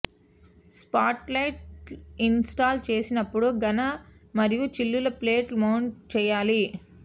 spotlight install చేసినప్పుడు ఘన మరియు చిల్లులు ప్లేట్ మౌంట్ చేయాలి